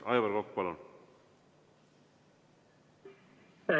Aivar Kokk, palun!